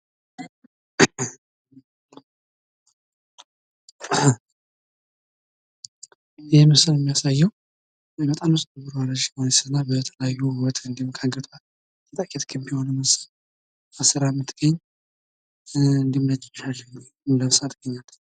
የፀጉር ሻምፖዎችና ኮንዲሽነሮች ፀጉርን ለማፅዳትና ለስላሳ እንዲሆን ለመርዳት የተሰሩ ምርቶች ናቸው።